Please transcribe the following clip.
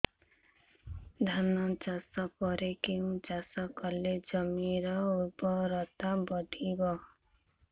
ଧାନ ଚାଷ ପରେ କେଉଁ ଚାଷ କଲେ ଜମିର ଉର୍ବରତା ବଢିବ